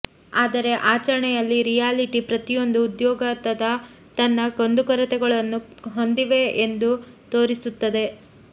ಆದರೆ ಆಚರಣೆಯಲ್ಲಿ ರಿಯಾಲಿಟಿ ಪ್ರತಿಯೊಂದು ಉದ್ಯೋಗದಾತ ತನ್ನ ಕುಂದುಕೊರತೆಗಳನ್ನು ಹೊಂದಿದೆ ಎಂದು ತೋರಿಸುತ್ತದೆ